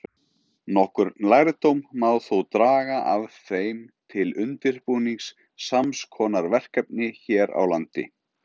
Nokkurn lærdóm má þó draga af þeim til undirbúnings sams konar verkefni hér á landi.